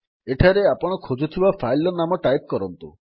ଏଠାରେ ଆପଣ ଖୋଜୁଥିବା ଫାଇଲ୍ ର ନାମ ଟାଇପ୍ କରନ୍ତୁ